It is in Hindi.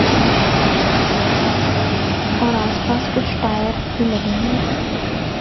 इसमें और आसपास कुछ टायर भी लगे हुए हैं।